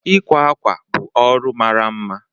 Ịkwa akwa bụ ọrụ mara mma